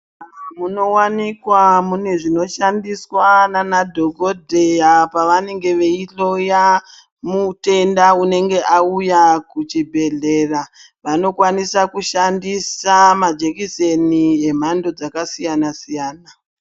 Muzvibhedhlera munovanikwa mune zvinoshandiswa ndiana dhogodheya pavanenge veihloya mutenda unenge auya kuchibhedhleya. Vanokwanisa kushandisa majekiseni emhando dzakasiyana-siyana.